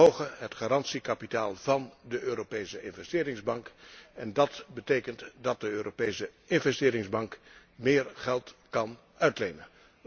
Wij verhogen het garantiekapitaal van de Europese Investeringsbank en dat betekent dat de Europese Investeringsbank meer geld kan uitlenen.